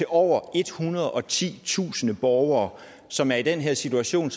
over ethundrede og titusind borgere som er i den situation